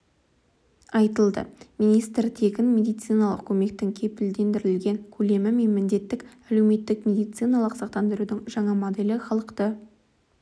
айтылды министр тегін медициналық көмектің кепілдендірілген көлемі мен міндетті әлеуметтік медициналық сақтандырудың жаңа моделі халықты